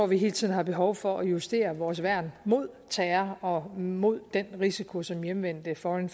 vi hele tiden har behov for at justere vores værn mod terror og mod den risiko som hjemvendte foreign